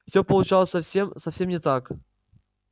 всё получалось совсем совсем не так